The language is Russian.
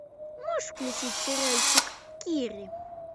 можешь включить сериальчик кири